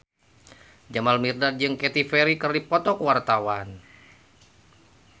Jamal Mirdad jeung Katy Perry keur dipoto ku wartawan